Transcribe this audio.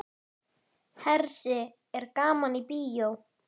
Hersir er gaman í bíó?